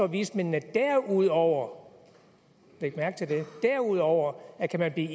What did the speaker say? vismændene derudover læg mærke til det derudover at kan man i